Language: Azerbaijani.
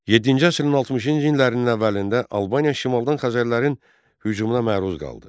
Yeddinci əsrin 60-cı illərinin əvvəlində Albaniya şimaldan Xəzərlərin hücumuna məruz qaldı.